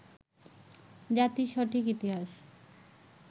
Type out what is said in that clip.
জাতির সঠিক ইতিহাস